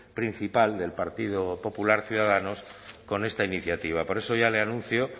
principal del partido popular ciudadanos con esta iniciativa por eso ya le anuncio